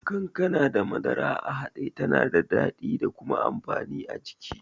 Kankana da madara a haɗe tana da daɗi da kuma amfani a jiki.